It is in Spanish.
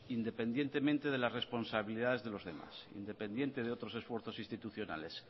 independientemente de la responsabilidades de los demás independiente de otros esfuerzos institucionales